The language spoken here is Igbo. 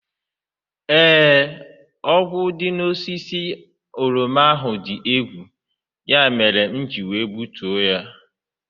Ee, ogwu dị n'osisi oroma ahụ dị egwu, ya mere m ji gbutuo ha.